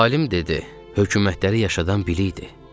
Alim dedi: Hökumətləri yaşadan bilikdir.